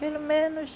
Pelo menos